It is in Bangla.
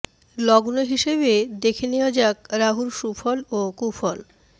লগ্ন হিসেবে দেখে নেওয়া যাক রাহুর সুফল ও কুফল